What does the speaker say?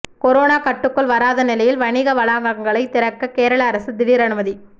corona கட்டுக்குள் வராத நிலையில் வணிக வளாகங்களை திறக்க கேரள அரசு திடீர் அனுமதி